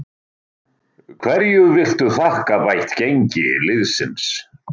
Hverju viltu þakka bætt gengi liðsins?